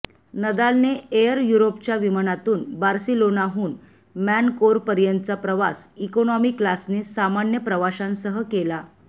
नदालने air युरोपच्या विमानातून बार्सिलोनाहून मॅनकोरपर्यंतचा प्रवास इकोनॉमी क्लासने सामान्य प्रवाशांसह केला